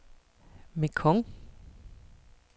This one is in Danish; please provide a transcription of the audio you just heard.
Mekong